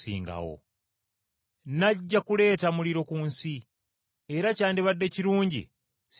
“Najja kuleeta muliro ku nsi, era kyandibadde kirungi singa gukoledde!